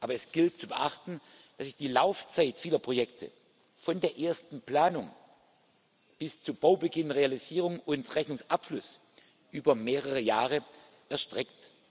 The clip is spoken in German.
Aber es gilt zu beachten, dass sich die Laufzeit vieler Projekte von der ersten Planung bis zu Baubeginn, Realisierung und Rechnungsabschluss über mehrere Jahre erstreckt.